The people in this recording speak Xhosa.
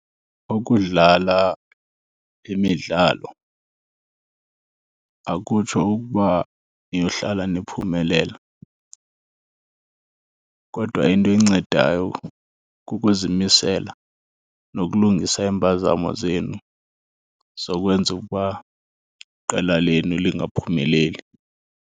Ukudlala imidlalo akutsho ukuba niyohlala niphumelela, kodwa into encedayo kukuzimisela nokulungisa iimpazamo zenu zokwenza ukuba iqela lenu lingaphumeleli.